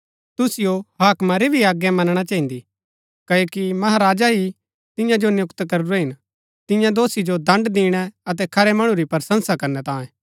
तुहै हाकमा री भी आज्ञा मनणा चहिन्दी क्ओकि महाराजा ही तिन्या जो नियुक्त करूरै हिन तिन्या दोषी जो दण्ड दिणै अतै खरै मणु री प्रशंसा करनै तांये